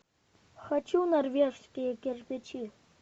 хочу норвежские кирпичи